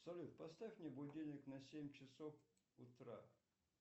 салют поставь мне будильник на семь часов утра